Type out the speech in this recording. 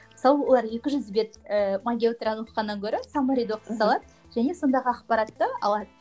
мысалы олар екі жүз бет ыыы магия утраны оқығаннан көрі саммариді оқы салады және сондағы ақпаратты алады